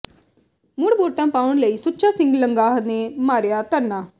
ਮੁੜ ਵੋਟਾਂ ਪਾਉਣ ਲਈ ਸੁੱਚਾ ਸਿੰਘ ਲੰਗਾਹ ਨੇ ਮਾਰਿਆ ਧਰਨਾ